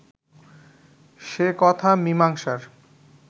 সে কথা মীমাংসার